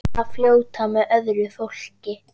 Að fljóta með öðru fólki.